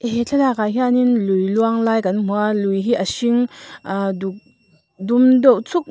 he thlalakah hian lui luang lai kan hmu a lui hi a hring ahh duk dum deuh chuk--